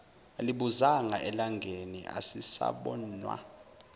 alibuzanga elangeni asisabonwa